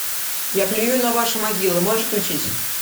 я плюю на ваши могилы можешь включить